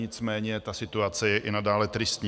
Nicméně ta situace je i nadále tristní.